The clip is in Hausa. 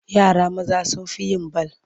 Yara maza sun fi yin bal.